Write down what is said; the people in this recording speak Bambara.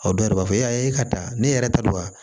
O dɔw yɛrɛ b'a fɔ e ka da ne yɛrɛ ta don wa